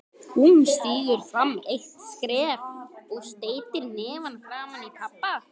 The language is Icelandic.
Hún stígur fram eitt skref og steytir hnefann framaní pabba